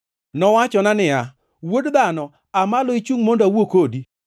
Nowachona niya, “Wuod dhano, aa malo ichungʼ mondo awuo kodi.”